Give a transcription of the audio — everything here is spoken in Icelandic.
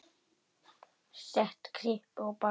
Set kryppu á bakið.